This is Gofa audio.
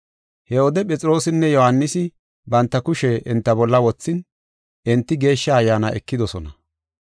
He wode Phexroosinne Yohaanisi banta kushe enta bolla wothin, enti Geeshsha Ayyaana ekidosona.